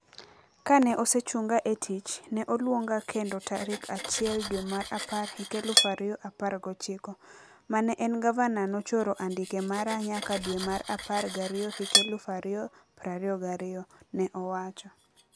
"Kane osechunga e tich, ne oluonga kendo tarik achiel dwe mar apar hik eluf ario apar gochiko. Mane en gavana nochoro andike mara nyaka dwe mar apar gario hik eluf ario prario gario." Ne owacho.